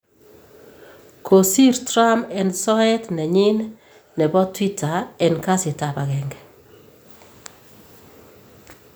kosir Trump en soet nenyin nebo Twitter en kasitab agenge